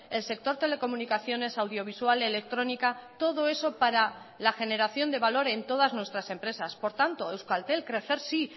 el sector telecomunicaciones audiovisual electrónica todo eso para la generación de valor en todas nuestras empresas por tanto euskaltel crecer sí